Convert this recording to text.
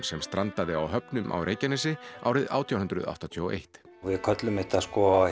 sem strandaði á höfnum á Reykjanesi árið átján hundruð áttatíu og eitt við köllum þetta